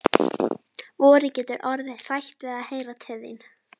Vorið getur orðið hrætt við að heyra til þín.